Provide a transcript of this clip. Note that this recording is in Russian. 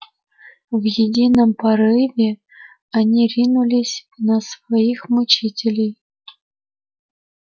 в едином порыве они ринулись на своих мучителей